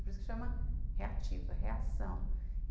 Por isso que chama reativa, reação.